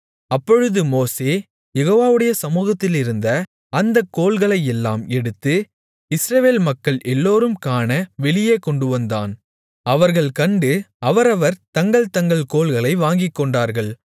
அப்பொழுது மோசே யெகோவாவுடைய சமுகத்திலிருந்த அந்தக் கோல்களையெல்லாம் எடுத்து இஸ்ரவேல் மக்கள் எல்லோரும் காண வெளியே கொண்டுவந்தான் அவர்கள் கண்டு அவரவர் தங்கள் தங்கள் கோல்களை வாங்கிக்கொண்டார்கள்